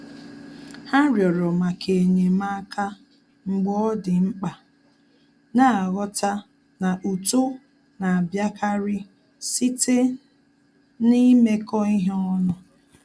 Há rịọ̀rọ̀ màkà ényémáká mgbe ọ́ dị̀ mkpa, nà-àghọ́tá na uto nà-àbíákárí site n’ímékọ́ ihe ọnụ.